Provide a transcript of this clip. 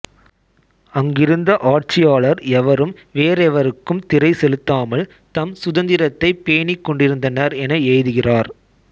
அங்கிருந்த ஆட்சியாளர் எவரும் வேறெவருக்கும் திறை செலுத்தாமல் தம் சுதந்திரத்தைப் பேணிக் கொண்டிருந்தனர் என எழுதுகிறார்